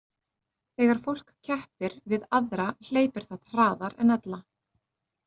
Þegar fólk keppir við aðra hleypur það hraðar en ella.